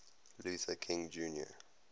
luther king jr